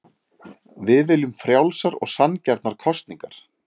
Við viljum frjálsar og sanngjarnar kosningar